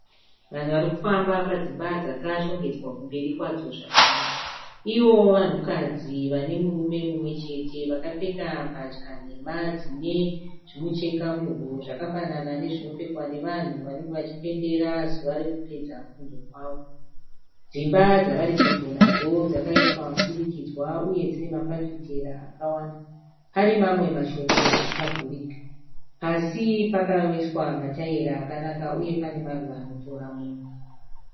Vanhu vari kufamba padzimba dzakshongedzwa kumberi kwadzo zvakanaka. Ivo vanhukadzi vane murume mumwechete. Vakapfeka mbatya nhema dzine zvimucheka muhuro zvakafanana nezvinopfekwa nevanhu vanenge vachipembera zuva rekupedza kufunda kwavo. Dzimba dzavari pedyo nadzo dzakaitwa mudurikidzwa uye dzine mafafitera akawanda, pane mamwe mashoma akavhurika. Pasi pakaiswa mataira akanaka uye pane maruva anotora mwoyo.